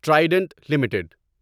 Trident limited